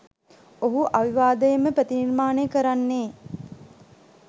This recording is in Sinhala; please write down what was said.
ඔහු අවිවාදයෙන්ම ප්‍රතිනිර්මාණය කරන්නේ